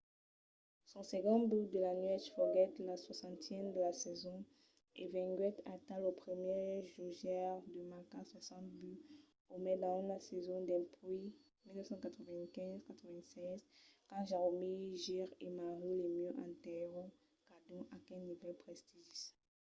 son segond but de la nuèch foguèt lo 60n de la sason e venguèt aital lo primièr jogaire a marcar 60 buts o mai dins una sason dempuèi 1995-96 quand jaromir jagr e mario lemieux atenhèron cadun aquel nivèl prestigis